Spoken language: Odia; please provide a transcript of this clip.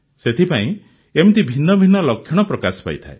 ସେଥିପାଇଁ ଏମିତି ଭିନ୍ନ ଭିନ୍ନ ଲକ୍ଷଣ ପ୍ରକାଶ ପାଇଥାଏ